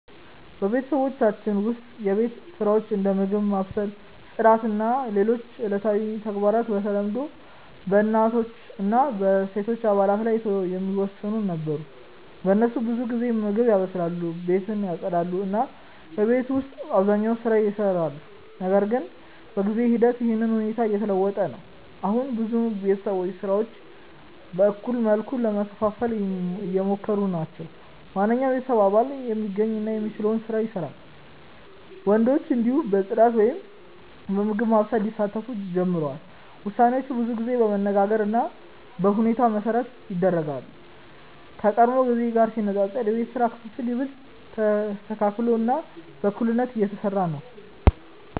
በቤተሰባችን ውስጥ የቤት ስራዎች እንደ ምግብ ማብሰል፣ ጽዳት እና ሌሎች ዕለታዊ ተግባራት በተለምዶ በእናቶች እና በሴቶች አባላት ላይ ይወሰኑ ነበር። እነሱ ብዙ ጊዜ ምግብ ያበስላሉ፣ ቤትን ያጽዳሉ እና የቤት ውስጥ አብዛኛውን ስራ ይሰራሉ። ነገር ግን በጊዜ ሂደት ይህ ሁኔታ እየተለወጠ ነው። አሁን ብዙ ቤተሰቦች ስራዎችን በእኩል መልኩ ለመከፋፈል እየሞከሩ ናቸው። ማንኛውም የቤተሰብ አባል የሚገኝ እና የሚችለውን ስራ ይሰራል፣ ወንዶችም እንዲሁ በጽዳት ወይም በምግብ ማብሰል ሊሳተፉ ጀምረዋል። ውሳኔዎች ብዙ ጊዜ በመነጋገር እና በሁኔታ መሠረት ይደረጋሉ፣ ከቀድሞ ጊዜ ጋር ሲነጻጸር የቤት ስራ ክፍፍል ይበልጥ ተስተካክሎ እና በእኩልነት እየተሰራ ነው።